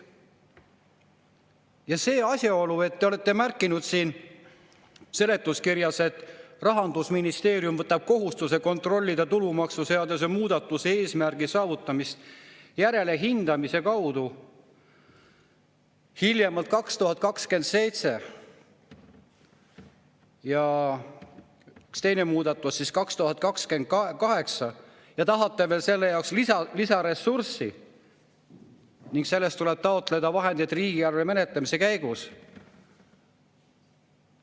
Ja see asjaolu, et te olete märkinud siin seletuskirjas, et Rahandusministeerium võtab kohustuse kontrollida tulumaksuseaduse muudatuse eesmärgi saavutamist järelhindamise kaudu hiljemalt 2027, ja teine muudatus 2028, tahate veel selle jaoks lisaressurssi, milleks tuleb riigieelarve menetlemise käigus taotleda vahendeid.